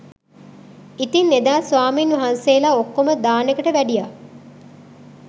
ඉතින් එදා ස්වාමීන් වහන්සේලා ඔක්කොම දානෙකට වැඩියා